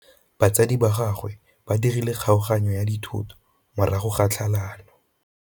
Batsadi ba gagwe ba dirile kgaoganyô ya dithoto morago ga tlhalanô.